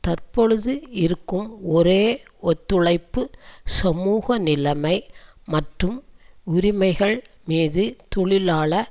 தற்பொழுது இருக்கும் ஒரே ஒத்துழைப்பு சமூக நிலைமை மற்றும் உரிமைகள் மீது தொழிலாள